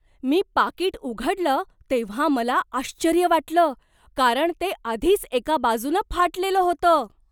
मी पाकीट उघडलं तेव्हा मला आश्चर्य वाटलं, कारण ते आधीच एका बाजूनं फाटलेलं होतं!